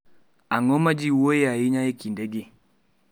Ang’o ma ji wuoyoe ahinya e kindegi?